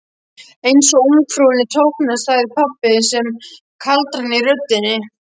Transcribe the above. Einsog ungfrúnni þóknast, sagði pabbi með sama kaldrana í röddinni.